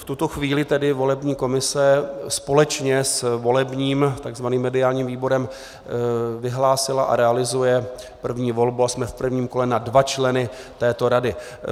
V tuto chvíli tedy volební komise společně s volebním, takzvaným mediálním výborem vyhlásila a realizuje první volbu - a jsme v prvním kole - na dva členy této rady.